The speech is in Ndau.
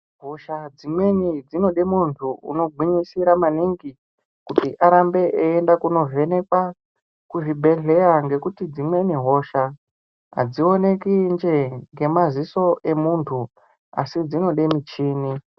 Hosha dzimweni dzinode muntu unogwinyisira maningi kuti arambe eienda kunovhenekwa kuzvibhedhlera ngekuti dzimweni hosha adzionekwi njee ngemaziso emuntu, asi dzinode muchini.